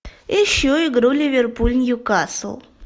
ищу игру ливерпуль ньюкасл